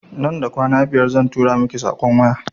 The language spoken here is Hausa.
Nan da kwana biyar zan turo miki saƙon waya